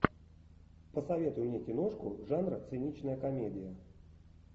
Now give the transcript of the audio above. посоветуй мне киношку жанра циничная комедия